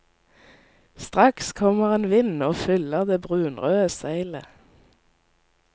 Straks kommer en vind og fyller det brunrøde seilet.